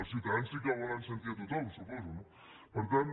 els ciutadans sí que volen sentir a tothom suposo no per tant